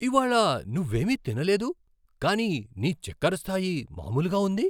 ఇవాళ నువ్వేమీ తినలేదు, కానీ నీ చెక్కర స్టాయి మామూలుగా ఉంది.